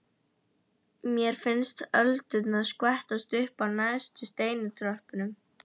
Mér finnst öldurnar skvettast upp á neðstu steintröppurnar.